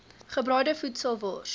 gebraaide voedsel wors